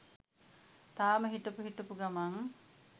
තාම හිටපු හිටපු ගමන්